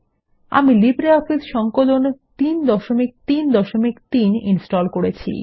অমি LibreOffice সংকলন ৩৩৩ install করেছি